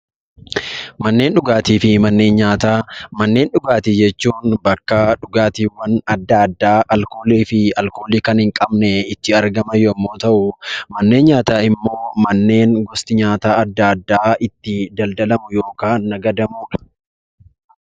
Manneen dhugaatii fi manneen nyaataa. Manneen dhugaatii jechuun bakka dhugaatiiwwan addaa addaa alkoolii fi alkoolii kan hin qabne itti argaman yammuu ta'uu; manneen nyaataa immoo manneen gosti nyaataa addaa addaa itti daldalamuudha.